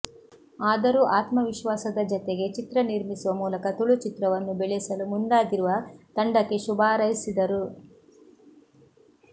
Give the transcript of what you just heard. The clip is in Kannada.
ಆದರೂ ಆತ್ಮವಿಶ್ವಾಸದ ಜತೆಗೆ ಚಿತ್ರ ನಿರ್ಮಿಸುವ ಮೂಲಕ ತುಳುಚಿತ್ರವನ್ನು ಬೆಳೆಸಲು ಮುಂದಾಗಿರುವ ತಂಡಕ್ಕೆ ಶುಭಾರೈಸಿದರು